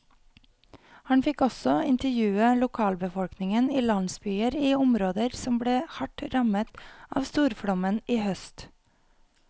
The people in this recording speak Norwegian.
Han fikk også intervjue lokalbefolkningen i landsbyer i områder som ble hardt rammet av storflommen i høst.